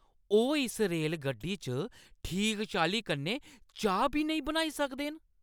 ओह् इस रेलगड्डी च ठीक चाल्ली कन्नै चाह् बी नेईं बनाई सकदे न!